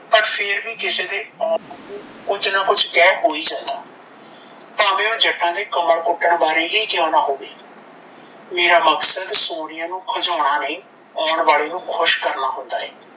ਪਰ ਫੇਰ ਵੀ ਕਿਸੇ ਦੇ ਕੁਝ ਨਾਂ ਕੁਝ ਕਹਿ ਹੋ ਹੀ ਜਾਂਦਾ ਐ ਭਾਂਵੇ ਓਹ ਜੱਟਾਂ ਦੇ ਕਮਲ ਕੁੱਟਣ ਬਾਰੇ ਹੀ ਕਿਂਓ ਨਾਂ ਹੋਵੇ ਮੇਰਾ ਮਕਸਦ ਸੋਨੀਆ ਨੂੰ ਖਿਜਾਉਣ ਨਹੀਂ ਆਉਣ ਵਾਲੇ ਨੂੰ ਖੁਸ਼ ਕਰਨਾ ਹੁੰਦਾ ਐ